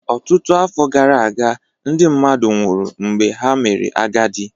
Ọtụtụ afọ gara aga, ndị mmadụ nwụrụ mgbe ha mere agadi